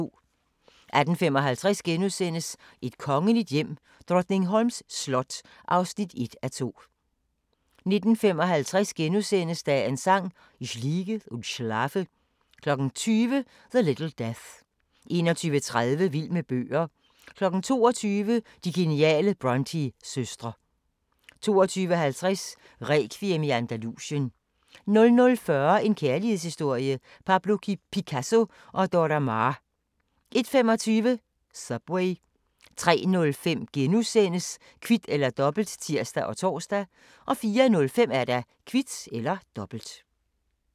18:55: Et kongeligt hjem: Drottningholms slot (1:2)* 19:55: Dagens Sang: Ich liege und schlafe * 20:00: The Little Death 21:30: Vild med bøger 22:00: De geniale Brontë-søstre 22:50: Rekviem i Andalusien 00:40: En kærlighedshistorie – Pablo Picasso & Dora Maar 01:25: Subway 03:05: Kvit eller Dobbelt *(tir og tor) 04:05: Kvit eller Dobbelt